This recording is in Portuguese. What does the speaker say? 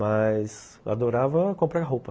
Mas adorava comprar roupa.